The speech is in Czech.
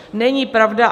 Není pravda.